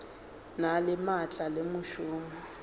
na le maatla le mešomo